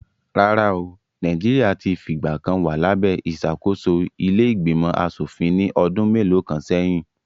Rárá o, Nàìjíríà ti fìgbà kan wa labe ìṣàkóso ilé ìgbìmọ̀ aṣòfin ní ọdún mélòó kan sẹ́yìn